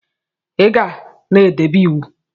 Iga na edebe iwu!!